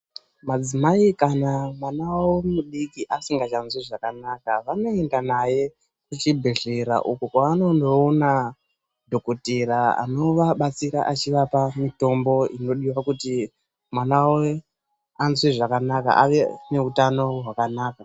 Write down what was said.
Madzimai kana mwana wawo mudiki asingachazwi zvakanaka vanoenda naye kuchibhedhlera uko kwaanondoona dhokotera anovabatsira achivapa mitombo inodiwa kuti mwana wavo anzwe zvakanaka ave neutamo hwakanaka.